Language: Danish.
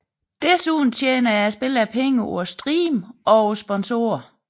Desuden tjener spillerne penge på at streame og på sponsore